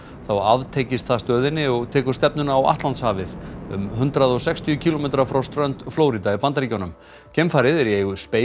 þá aftengist það stöðinni og tekur stefnuna á Atlantshafið um hundrað og sextíu kílómetra frá strönd Flórída í Bandaríkjunum geimfarið er í eigu